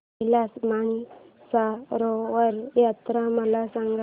कैलास मानसरोवर यात्रा मला सांग